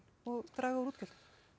og draga úr útgjöldum